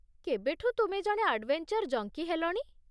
କେବେଠୁଁ ତୁମେ ଜଣେ adventure junkie ହେଲଣି?